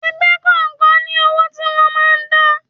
Ẹgbẹ́ kọ̀ọ̀kan ní owó tí wọ́n máa ń dá.